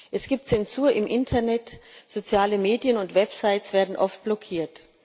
Es gibt Zensur im Internet, soziale Medien und Websites werden oft blockiert.